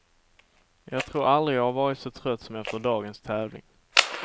Jag tror aldrig jag varit så trött som efter dagens tävling.